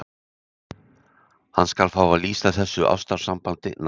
Hann skal fá að lýsa þessu ástarsambandi nánar.